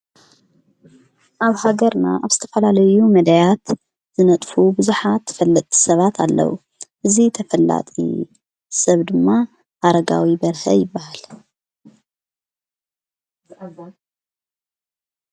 ኣብ ሃገርና ኣብ ዝተፈላለዩ መዳያት ዘነጥፉ ብዙሓት ፈለቲ ሰባት ኣለዉ፡፡ እዙይ ተፈላጢ ሰብ ድማ ኣረጋዊ በርሀ ይበሃል፡፡